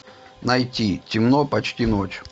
найти темно почти ночь